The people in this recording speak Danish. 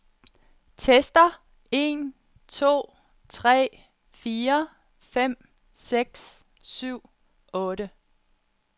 Tester en to tre fire fem seks syv otte.